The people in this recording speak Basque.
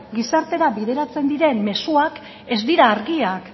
gizartera bideratzen diren mezuak ez dira argiak